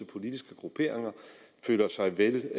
politiske grupperinger føler sig vel